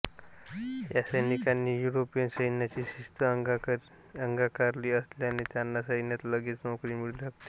या सैनिकांनी युरोपियन सैन्यांची शिस्त अंगिकारली असल्याने त्यांना सैन्यात लगेच नोकरी मिळू शकते